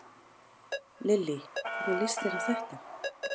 Lillý: Hvernig líst þér á þetta?